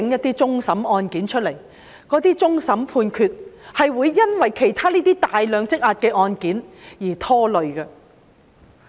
請盡快處理一些終審案件，因為其他大量積壓的案件是會拖累終審判決的。